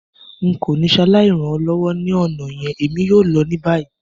N ko ni saláì ran ọ lọwọ ni ọna yẹn, èmi yoo lọ ni bayi.